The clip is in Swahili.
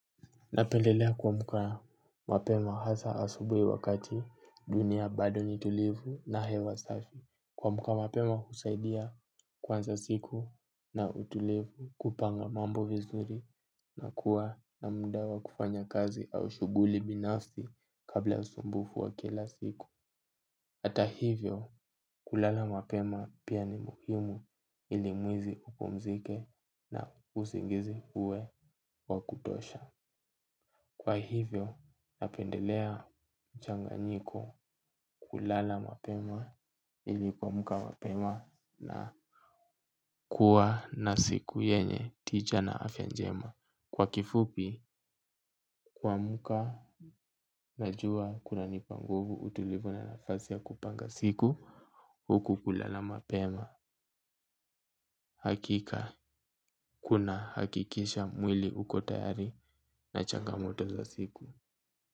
Napendelea kuamka mapema hasa asubuhi wakati dunia bado ni tulivu na hewa safi. Kuamka mapema husaidia kuanza siku na utulivu, kupanga mambo vizuri na kuwa na muda wa kufanya kazi au shughuli binafsi kabla usumbufu wa kila siku. Ata hivyo kulala mapema pia ni muhimu ili mwili upumzike na usingizi uwe wa kutosha. Kwa hivyo napendelea mchanganyiko kulala mapema ili kuamka mapema na kuwa na siku yenye tija na afya njema. Kwa kifupi kuamka najua kunanipa nguvu, utulivu na nafasi ya kupanga siku huku kulala mapema. Hakika kunahakikisha mwili uko tayari na changamoto za siku.